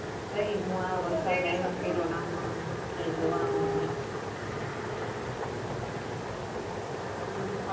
પહી હું આ વરસાદ આવ્યા કર્યો ને આમ ને આમ ક્યાક જવાનું નહિ water park